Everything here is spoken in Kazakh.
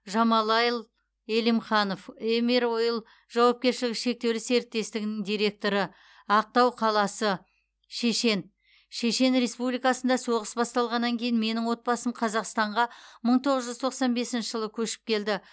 жамалайл элимханов емир ойл жауапкершілігі шектеулі серіктестігінің директоры ақтау қаласы шешен шешен республикасында соғыс басталғаннан кейін менің отбасым қазақстанға мың тоғыз жүз тоқсан бесінші жылы көшіп келді